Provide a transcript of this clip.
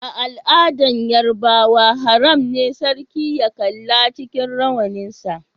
A'aladan Yorubawa, haram ne sarki ya kalla cikin rawanin sa.